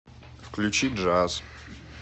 включи джаз